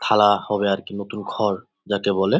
খালা হবে আর কি নতুন ঘর যাকে বলে।